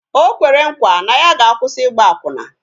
O kwere nkwa na ya ga-akwụsi Ịgba akwụna